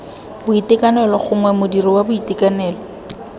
boitekanelo gongwe modiri wa boitekanelo